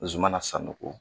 Zumana Sanogo